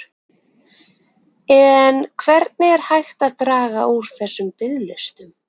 En hvernig er hægt að draga úr þessum biðlistum?